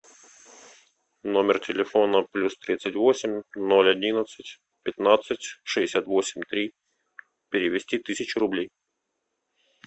номер телефона плюс тридцать восемь ноль одиннадцать пятнадцать шестьдесят восемь три перевести тысячу рублей